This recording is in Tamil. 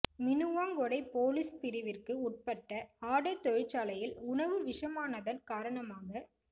மினுவாங்கொடை போலீஸ் பிரிவிற்கு உட்பட்ட ஆடை தொழிற்சாலையில் உணவு விஷமானதன் காரணமாக